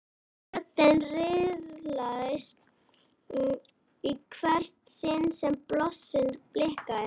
Röðin riðlaðist í hvert sinn sem blossinn blikkaði.